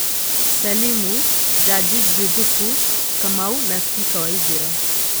Salimu, Jaji Juthubu, Kamau na spika Waithira